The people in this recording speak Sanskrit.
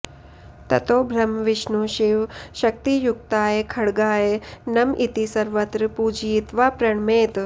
ततो ब्रह्मविष्णुशिवशक्तियुक्ताय खड्गाय नम इति सर्वत्र पूजयित्वा प्रणमेत्